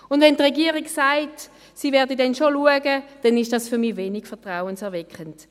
Und wenn die Regierung sagt, sie werde dann schon schauen, dann ist das für mich wenig vertrauenserweckend.